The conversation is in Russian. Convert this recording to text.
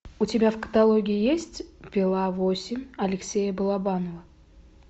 у тебя в каталоге есть пила восемь алексея балабанова